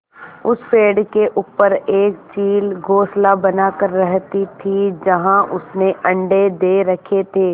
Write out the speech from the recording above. उस पेड़ के ऊपर एक चील घोंसला बनाकर रहती थी जहाँ उसने अंडे दे रखे थे